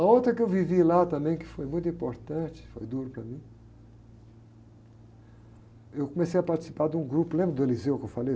A outra que eu vivi lá também, que foi muito importante, foi duro para mim, eu comecei a participar de um grupo, lembra do que eu falei?